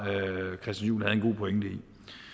christian juhl havde en god pointe